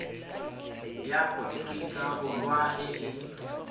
ya aforika borwa e e